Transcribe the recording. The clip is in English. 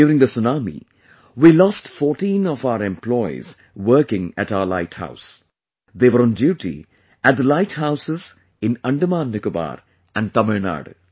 During the tsunami we lost 14 of our employees working at our light house; they were on duty at the light houses in Andaman Nicobar and Tamilnadu